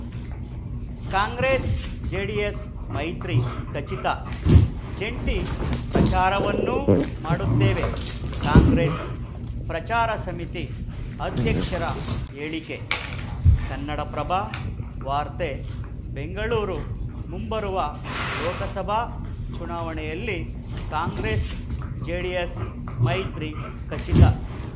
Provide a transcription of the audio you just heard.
ಕಾಂಗ್ರೆಸ್‌ಜೆಡಿಎಸ್‌ ಮೈತ್ರಿ ಖಚಿತ ಜಂಟಿ ಪ್ರಚಾರವನ್ನೂ ಮಾಡುತ್ತೇವೆ ಕಾಂಗ್ರೆಸ್‌ ಪ್ರಚಾರ ಸಮಿತಿ ಅಧ್ಯಕ್ಷರ ಹೇಳಿಕೆ ಕನ್ನಡಪ್ರಭ ವಾರ್ತೆ ಬೆಂಗಳೂರು ಮುಂಬರುವ ಲೋಕಸಭಾ ಚುನಾವಣೆಯಲ್ಲಿ ಕಾಂಗ್ರೆಸ್‌ಜೆಡಿಎಸ್‌ ಮೈತ್ರಿ ಖಚಿತ